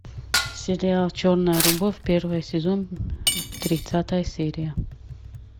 сериал черная любовь первый сезон тридцатая серия